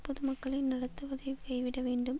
பொதுமக்களை நடத்துவதைக் கைவிட வேண்டும்